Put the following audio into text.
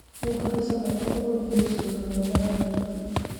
Nĩngũhaica matatũ gũthiĩ mũciĩ-inĩ mũnene wa Nairobi